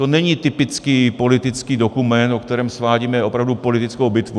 To není typický politický dokument, o kterém svádíme opravdu politickou bitvu.